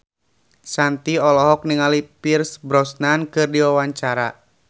Shanti olohok ningali Pierce Brosnan keur diwawancara